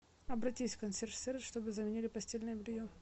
обратись в консьерж сервис чтобы заменили постельное белье